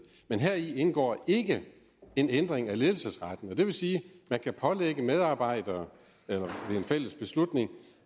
men heri indgår ikke en ændring af ledelsesretten og det vil sige at man kan pålægge medarbejdere altså ved en fælles beslutning